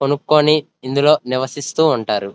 కొనుకొని ఇందులో నివసిస్తూ ఉంటారు.